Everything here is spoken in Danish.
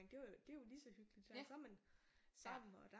Det var det er jo lige så hyggeligt så er man sammen og